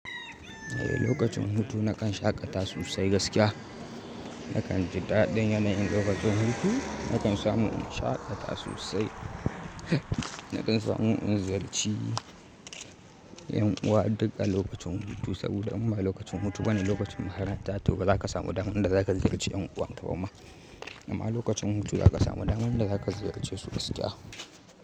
Eh lokacin hutu nakan shaƙata sosai gaskiya. Nakan ji daɗin yanayin lokacin hutu, nakan samu in shaƙata sosai, nakan samu in ziyarci yan uwa duk a lokacin hutu saboda in ba lokacin hutu bane lokacin makaranta to ba za ka samu daman da za ka ziyarci ƴan uwan ka ba ma amma lokacin hutu za ka samu daman da za ka ziyarce su gaskiya.